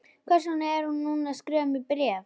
Hvers vegna er hún að skrifa mér bréf?